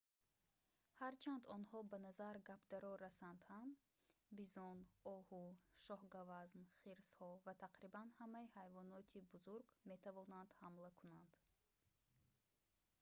ҳарчанд онҳо ба назар гапдаро расанд ҳам бизон оҳу шоҳгавазн хирсҳо ва тақрибан ҳамаи ҳайвоноти бузург метавонанд ҳамла кунанд